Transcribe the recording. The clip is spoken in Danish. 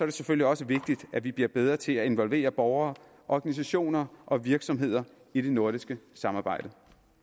det selvfølgelig også vigtigt at vi bliver bedre til at involvere borgere organisationer og virksomheder i det nordiske samarbejde